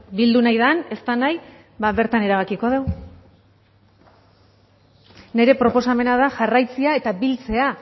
bildu nahi den ez den nahi ba bertan erabakiko dugu nire proposamena da jarraitzea eta biltzea